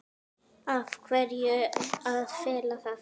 Af hverju að fela það?